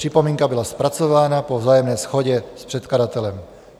Připomínka byla zpracována po vzájemné shodě s předkladatelem."